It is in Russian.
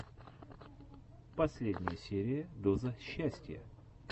последняя серия доза счастья